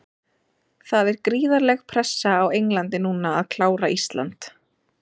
Það er gríðarleg pressa á Englandi núna að klára Ísland.